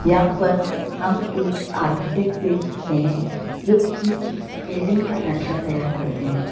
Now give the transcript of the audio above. यहां पर हम एक आर्किटेक्ट देख सकते हैं जो की बिल्डिंग का नक्शा तैयार करते हैं।